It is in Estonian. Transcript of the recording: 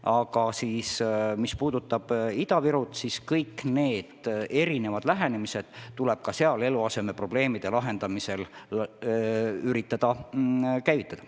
Aga mis puutub Ida-Virusse, siis kõik need erinevad meetmed tuleb ka seal eluasemeprobleemide lahendamiseks üritada käivitada.